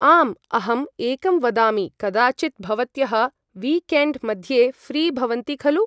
आम् अहं एकं वदामि कदाचित् भवत्यः विकेण्ड् मध्ये फ्री़ भवन्ति खलु ?